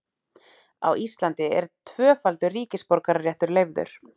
á íslandi er tvöfaldur ríkisborgararéttur leyfður